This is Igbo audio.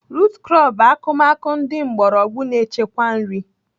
Rut krọp bụ akụmakụ ndị mgbọrọgwụ na-echekwa nri